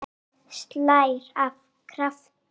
Og það slær af krafti.